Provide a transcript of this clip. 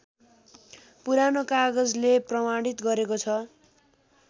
पुरानो कागजले प्रमाणित गरेको छ